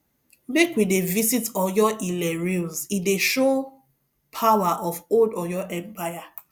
make we dey visit oyoile ruins e dey show power of old oyo empire